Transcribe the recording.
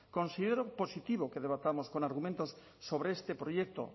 considero positivo que debatamos con argumentos sobre este proyecto